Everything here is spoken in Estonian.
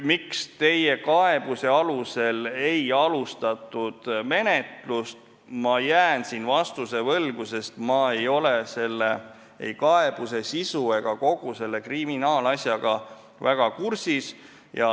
Miks teie kaebuse alusel ei alustatud menetlust, siin ma jään vastuse võlgu, sest ma ei ole ei selle kaebuse sisu ega kogu selle kriminaalasjaga väga kursis.